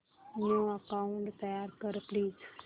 new account तयार कर please